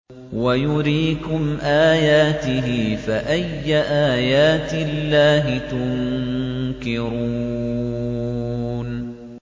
وَيُرِيكُمْ آيَاتِهِ فَأَيَّ آيَاتِ اللَّهِ تُنكِرُونَ